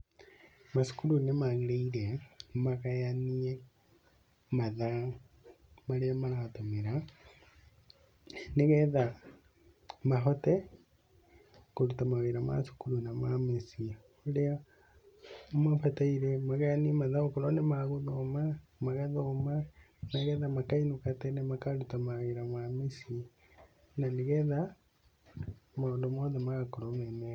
Macukuru nĩ magĩrĩire magayanie mathaa marĩa maratũmĩra, nĩgetha mahote kũruta mawĩra ma cukuru na ma mĩciĩ. Rĩrĩa mabataire magayanie mathaa akorũo nĩ ma gũthoma, magathoma, nĩ getha makainũka tene makaruta mawĩra ma mĩciĩ. Na nĩ getha maũndũ mothe magakorũo me mega.